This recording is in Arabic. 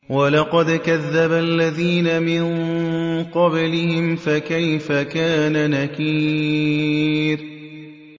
وَلَقَدْ كَذَّبَ الَّذِينَ مِن قَبْلِهِمْ فَكَيْفَ كَانَ نَكِيرِ